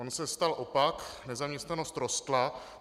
On se stal opak - nezaměstnanost rostla.